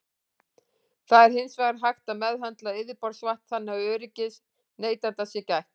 Það er hins vegar hægt að meðhöndla yfirborðsvatn þannig að öryggis neytenda sé gætt.